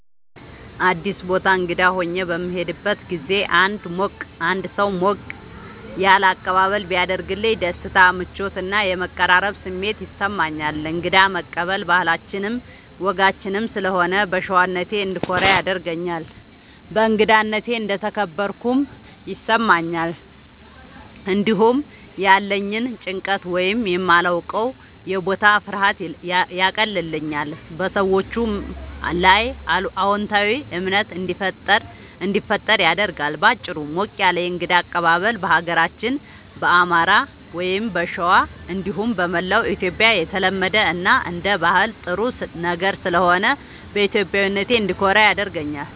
አዲስ ቦታ እንግዳ ሆኜ በምሄድበት ጊዜ አንድ ሰው ሞቅ ያለ አቀባበል ቢያደርግልኝ ደስታ፣ ምቾት እና የመቀራረብ ስሜት ይሰማኛል። እንግዳ መቀበል ባህላችንም ወጋችንም ስለሆነ በሸዋነቴ እንድኮራ ያደርገኛል። በእንግዳነቴ እንደተከበርኩም ይሰማኛል። እንዲሁም ያለኝን ጭንቀት ወይም የማላዉቀዉ የቦታ ፍርሃት ያቀልልኛል፣ በሰዎቹም ላይ አዎንታዊ እምነት እንዲፈጠር ያደርጋል። በአጭሩ፣ ሞቅ ያለ የእንግዳ አቀባበል በሀገራችን በአማራ(ሸዋ) እንዲሁም በመላዉ ኢትዮጽያ የተለመደ እና አንደ ባህል ጥሩ ነገር ስለሆነ በኢትዮጵያዊነቴ እንድኮራ ያደርገኛል።